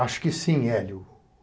Acho que sim, Hélio.